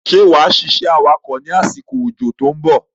Ṣé wá ṣiṣẹ́ awakọ̀ ni àsìkò ójó to ń bọ̀?